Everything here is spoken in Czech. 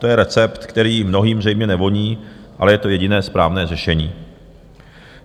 To je recept, který mnohým zřejmě nevoní, ale je to jediné správné řešení.